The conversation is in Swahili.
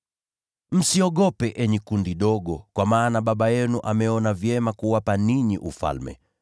“Msiogope enyi kundi dogo, kwa maana Baba yenu ameona vyema kuwapa ninyi Ufalme.